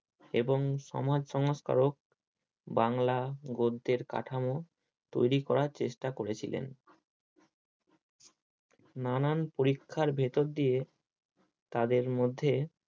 এবং সমাজ সংস্কারক বাংলা গদ্যের কাঠামো তৈরী করার চেষ্টা করেছিলেন। নানান পরীক্ষার ভেতর দিয়ে তাদের মধ্যে